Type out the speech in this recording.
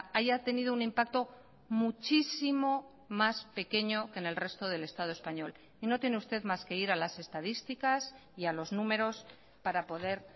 haya tenido un impacto muchísimo más pequeño que en el resto del estado español y no tiene usted más que ir a las estadísticas y a los números para poder